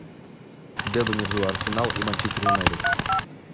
дерби между арсенал и манчестер юнайтед